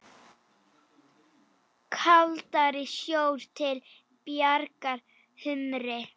Kaldari sjór til bjargar humri?